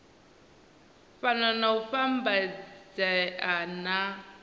fhano na u vhambedzea na